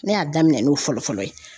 Ne y'a daminɛn n'o fɔlɔ fɔlɔ ye.